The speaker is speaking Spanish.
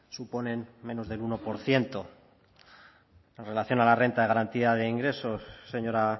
suponen menos del uno por ciento en relación a la renta de garantía de ingresos señora